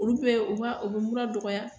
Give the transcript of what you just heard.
Olu bɛ u b'a o be mura dɔgɔya.